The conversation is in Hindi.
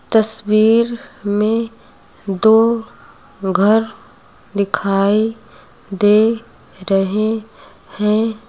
तस्वीर में दो घर दिखाई दे रहे हैं।